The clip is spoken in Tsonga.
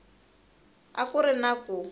a ku ri na ku